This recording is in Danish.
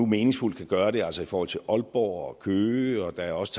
meningsfuldt kan gøre det altså i forhold til aalborg og køge og der er også